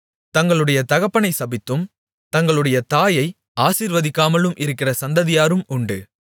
தங்களுடைய தகப்பனைச் சபித்தும் தங்களுடைய தாயை ஆசீர்வதிக்காமலும் இருக்கிற சந்ததியாரும் உண்டு